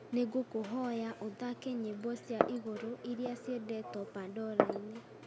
nĩ ngũkũhoya ũthaake nyĩmbo cia igũrũ iria ciendetwo pandora-inĩ